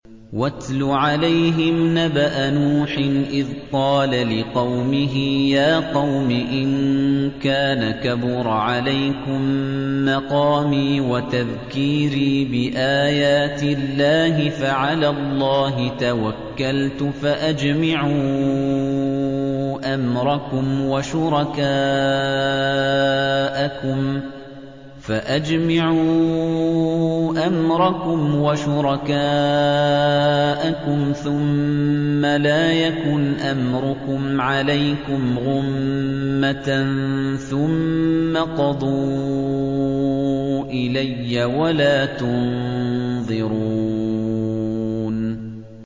۞ وَاتْلُ عَلَيْهِمْ نَبَأَ نُوحٍ إِذْ قَالَ لِقَوْمِهِ يَا قَوْمِ إِن كَانَ كَبُرَ عَلَيْكُم مَّقَامِي وَتَذْكِيرِي بِآيَاتِ اللَّهِ فَعَلَى اللَّهِ تَوَكَّلْتُ فَأَجْمِعُوا أَمْرَكُمْ وَشُرَكَاءَكُمْ ثُمَّ لَا يَكُنْ أَمْرُكُمْ عَلَيْكُمْ غُمَّةً ثُمَّ اقْضُوا إِلَيَّ وَلَا تُنظِرُونِ